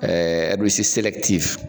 Ɛɛ